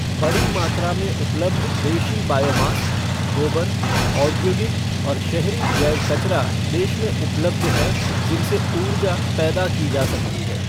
बड़ी मात्रा में उपबल्ध बेशी बायो मास, गोबर, औद्योगिक और शहरी जैव कचरा देश में उपलब्ध है, जिनसे ऊर्जा पैदा की जा सकती है।